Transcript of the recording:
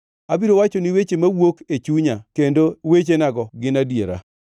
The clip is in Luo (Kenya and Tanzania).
Abiro wachoni weche mawuok e chunya kendo wechenago gin adiera.